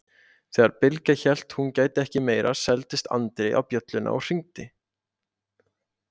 Þegar Bylgja hélt hún gæti ekki meira seildist Andri í bjölluna og hringdi.